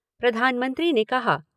प्रधानमंत्री ने कहा